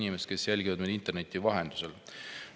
Hea inimesed, kes jälgivad meid interneti vahendusel!